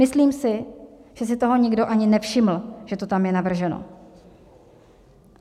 Myslím si, že si toho nikdo ani nevšiml, že to tam je navrženo.